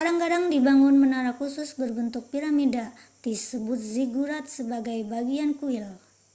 kadang-kadang dibangun menara khusus berbentuk piramida disebut ziggurat sebagai bagian kuil